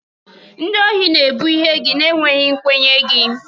Ndị ohi na-ebu ihe gị na-enweghị nkwenye gị.